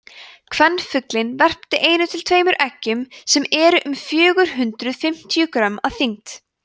kvenfuglinn verpir einu til tveimur eggjum sem eru um fjögur hundruð fimmtíu grömm að þyngd